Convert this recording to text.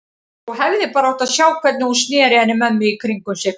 Þú hefðir bara átt að sjá hvernig hún sneri henni mömmu í kringum sig.